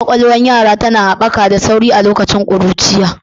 Ƙwaƙwalwar yara tana haɓaka da sauri a lokacin ƙuruciya.